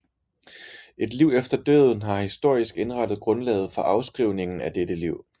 Et liv efter døden har historisk indrettet grundlaget for afskrivningen af dette liv